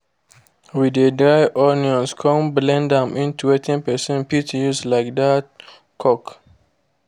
we de dry onions come blend am into wetin person fit use like that cook